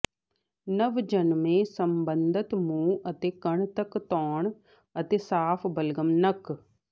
ਨਵਜੰਮੇ ਸਬੰਧਤ ਮੂੰਹ ਅਤੇ ਕੰਨ ਤੱਕ ਧੋਣ ਅਤੇ ਸਾਫ ਬਲਗਮ ਨੱਕ